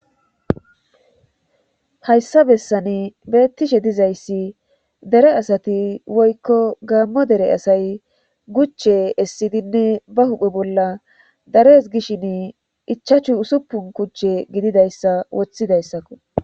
Hayssa bessani beettishe dizayssi dere asati woykko gaammo dere asay guche essidinne ba huphe bolla dares gishin ichachu usuppun kuchche gididayssa woththidayssakko.